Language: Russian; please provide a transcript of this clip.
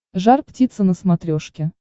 жар птица на смотрешке